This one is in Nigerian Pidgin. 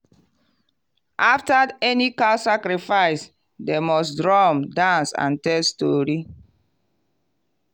after any cow sacrifice dem must drum dance and tell story.